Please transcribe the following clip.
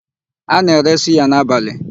A na-ere suya n'abalị.